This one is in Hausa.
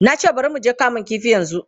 Na ce, bari mu je kamun kifi yanzu!